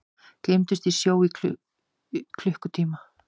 Gleymdust í sjó í klukkutíma